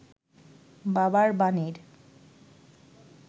বাবার বাণীর